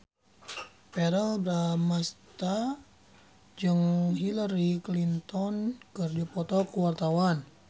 Verrell Bramastra jeung Hillary Clinton keur dipoto ku wartawan